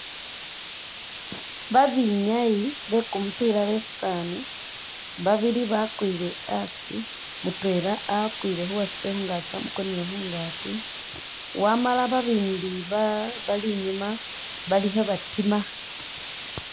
Ba binyayi be kumupiila besani babili bakwile asi mutwela akwile khuwasye khungakyi wamukonele khungakyi wama ba bandi bali inyuma bali khe batima.